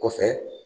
Kɔfɛ